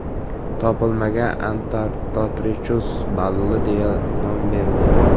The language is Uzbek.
Topilmaga Antarctotrechus balli deya nom berildi.